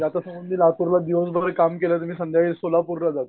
म्हणजे आता समज लातूरला दिवसभर जरी काम केलं तर मी संघ्याकाळी सोलापूरला जातो